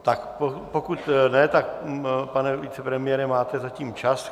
Tak pokud ne, tak pane vicepremiére, máte zatím čas.